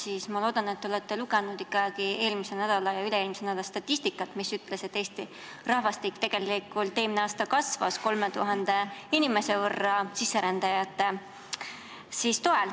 Aga ma loodan, et te olete siiski lugenud eelmisel ja üle-eelmisel nädalal avaldatud statistikat, mille kohaselt Eesti rahvastik tegelikult eelmine aasta kasvas 3000 inimese võrra tänu sisserändajatele.